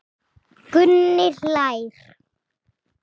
Gunni hlær.